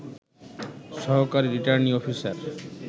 সহকারী returning officer